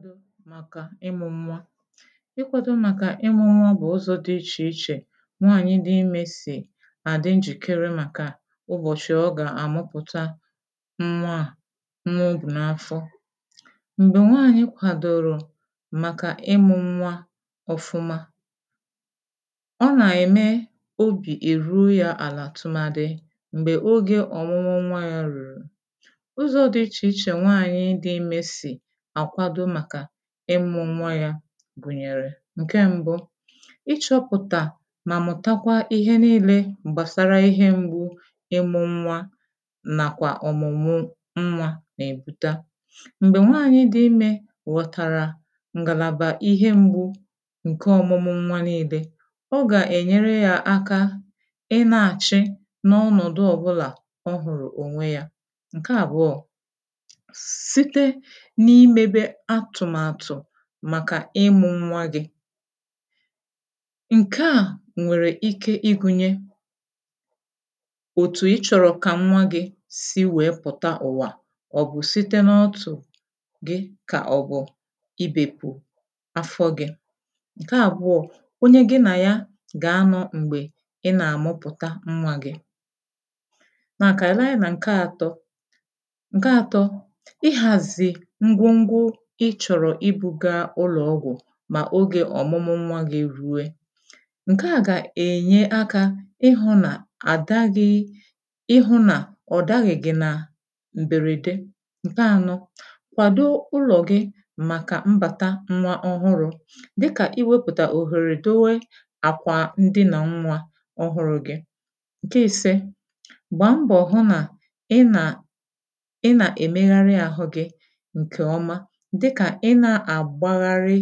Ihu̇ màkà ịmụ̇ nwa: ịkwȧdȯ màkà ịmụ̇ nwa bụ̀ ụzọ̇ dị ichè ichè nwaànyị dị imė si à dị njìkere màkà ụbọ̀chị̀ ọ gà-àmụpụ̀ta nwa à, nwa obù n’afọ. Mgbè nwaànyị kwȧdȯrȯ màkà ịmụ̇ nwa ọ̀fụma ọ nà-ème obì èru ya àlà tụmadị m̀gbè ogè ọ̀mụmụ nwa yȧ rùrù. ụzọ̇ dị ichè ichè nwaànyị dị imė si ȧkwadȯ maka ịmụ̇nwa yȧ gùnyèrè: Nke mbụ, ịchọ̇pụ̀tà mà mụ̀takwa ihe nilė gbàsara ihe m̀gbu ịmụ̇ nwa nàkwà ọ̀mụ̀mụ nwa nà-èbute. Mgbè nwaànyị dị imė ghọ̀tara ngàlàbà ihe m̀gbu ǹke ọ̀mụmụ nwa nilė, ọ gà-ènyere yȧ aka ị na-àchị n’ọnọ̀dụ ọ̀bụlà ọ hụ̀rụ̀ ònwe yȧ. Nke àbụọ, site n'ime be atumatu màkà ịmụ̇ ṅnwa gị, ǹke à nwèrè ike ịgụ̇nye òtù ịchọ̇rọ̀ kà nwa gị si wèe pụ̀ta ụ̀wa à. ọ bụ̀ site n’ọtụ̀ gị kà ọ̀bụ̀ ibèpù afọ gị.̇ Nke àbụọ,̇ onye gị nà ya gà-anọ̇ m̀gbè ị nà-àmụpụ̀ta nwa gị.̇ nà kà anyi lee anya nà ǹke àtọ. Nke àtọ, ihazi ngwogwo i chọ̀rọ̀ ịbụ̇ga ụlọ̀ ọgwụ̀ mà ogè ọ̀mụmụ nwa gị̇ rue. Nkeà gà-ènye akȧ ịhụ̇ nà àda gị̇ ịhụ̇ nà ọ daghị̀ gị̇ nà m̀bèrède. Nke àno, kwàdo ụlọ̀ gị̇ màkà mbàta nwa ọhụrụ,̇ dịkà i wepùtà òhèrè dowe àkwà ndịnà nwa ọhụrụ̇ gị. Nke isė, gbàmbọ̀ hụ nà ị nà ị nà èmegharị àhụ gị nke oma, dịkà ị nà-àgbagharị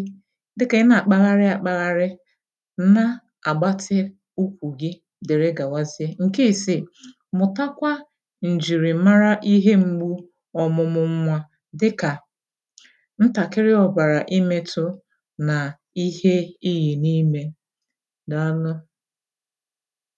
dịkà ị nà-àkpagharị àkpagharị nà-àgbatị ụkwụ̀ gị dere gàwazịe. Nke isi, mụ̀takwa ǹjìrìmara ihe m̀gbu ọ̀mụ̀mụ̀ nwà dị kà ntàkịrị ọ̀bàrà ịmėtụ na ihe ihì n’imė. Dàalụ!